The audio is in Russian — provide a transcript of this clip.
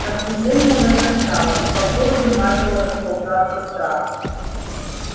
напряжение возрастало и по городу начало расползаться страх